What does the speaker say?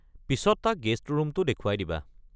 পিছত তাক গেষ্ট ৰূমটো দেখুৱাই দিবা।